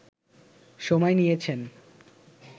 সময় নিয়েছেন